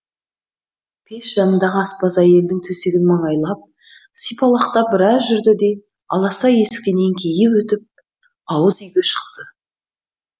пеш жанындағы аспаз әйелдің төсегін маңайлап сипалақтап біраз жүрді де аласа есіктен еңкейіп өтіп ауыз үйге шықты